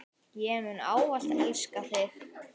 Ég mun ávallt elska þig.